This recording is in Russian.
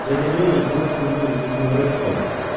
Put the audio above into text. дядя лёня был всего лишь зубным врачом